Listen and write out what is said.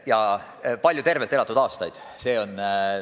Ja palju tervelt elatud aastaid!